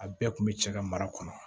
A bɛɛ kun bɛ cɛ ka mara kɔnɔ